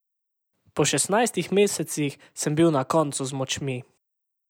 Po šestnajstih mesecih sem bil na koncu z močmi.